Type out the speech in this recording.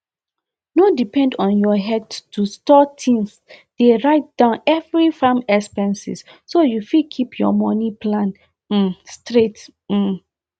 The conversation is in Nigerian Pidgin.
no depend on your headto store tins dey write down every farm expenses so you fit keep your money plan um straight um